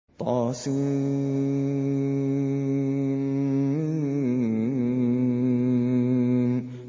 طسم